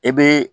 E be